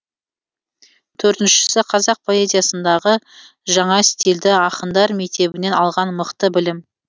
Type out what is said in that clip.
төртіншісі қазақ поэзиясындағы жаңа стилді ақындар мектебінен алған мықты білім